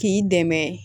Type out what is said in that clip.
K'i dɛmɛ